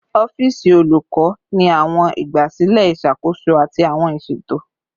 Ọfiisi olukọ ni awọn igbasilẹ iṣakoso ati awọn iṣeto